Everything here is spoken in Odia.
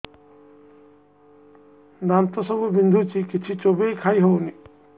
ଦାନ୍ତ ସବୁ ବିନ୍ଧୁଛି କିଛି ଚୋବେଇ ଖାଇ ହଉନି